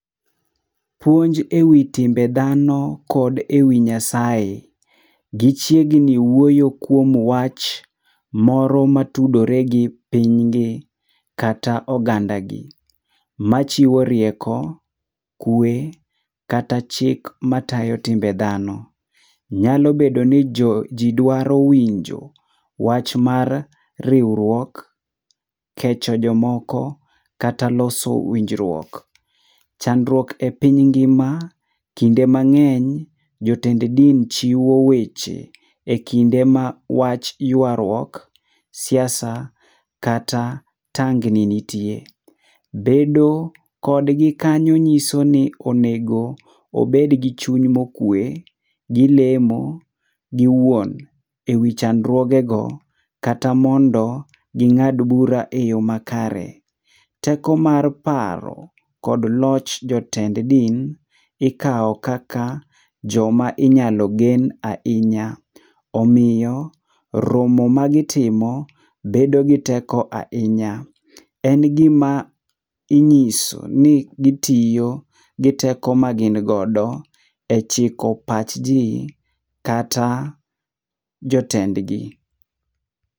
Puonj ewi timbe dhano kod ewi Nyasaye. Gichiegni wuoyo kuom wach moro matudore gi piny gi kata oganda gi machiwo rieko , kwe kata chik matayo timbe dhano. Nyalo bedo ni jo ji dwaro winjo wach mar riwruok, kecho jomoko kata loso winjruok. Chandruok e piny ngima, kinde mang'eny jotend din chiwo weche ekinde ma wach yuaruok, siasa kata tangni nitie. Bedo kodgi kanyo nyiso ni onego obed gi chuny mokwe, gilemo giwuon ewi chandruogego. Kata mondo ging'ad bura eyo makare. Teko mar paro kod loch jotend din ikawo kaka joma inyalo gen ahinya. Omiyo romo magitimo bedo gi teko ahinya. En gima inyiso ni gitiyo gi teko magin godo e chiko pachji kata jotendgi.